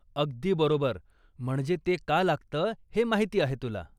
अगदी बरोबर, म्हणजे ते का लागतं हे माहिती आहे तुला.